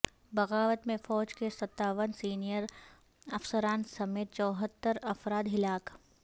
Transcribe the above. بغاوت میں فوج کے ستاون سینیئر افسران سمیت چوہتر افراد ہلاک ہوئے